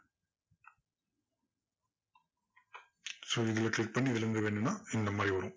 so இதுல click பண்ணி இதுலேர்ந்து வேணும்னா இந்த மாதிரி வரும்.